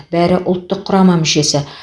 бәрі ұлттық құрама мүшесі